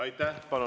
Aitäh!